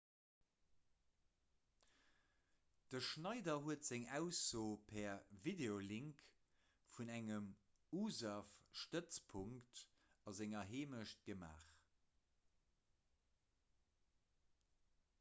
de schneider huet seng ausso per videolink vun engem usaf-stëtzpunkt a senger heemecht gemaach